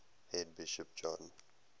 head bishop john